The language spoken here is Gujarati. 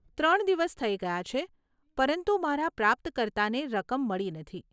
ત્રણ દિવસ થઈ ગયા છે, પરંતુ મારા પ્રાપ્તકર્તાને રકમ મળી નથી.